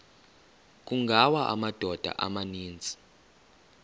kungawa amadoda amaninzi